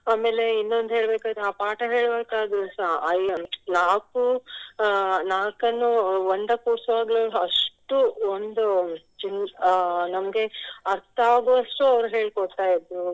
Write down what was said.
ಆಮೇಲೆ ಇನ್ನೊಂದು ಹೇಳ್ಬೇಕಾದ್ರೆ ಆ ಪಾಠ ಹೇಳ್ಬೇಕಾದ್ರುಸ ಅಹ್ ನಾಕು ನಾಲ್ಕನ್ನು ಒಂದಕ್ಕೆ ಅಷ್ಟು ಒಂದು ಅಹ್ ನಮ್ಗೆ ಅರ್ತಾಗುವಷ್ಟು ಅವರು ಹೇಳಿಕೊಡ್ತಾ ಇದ್ರು.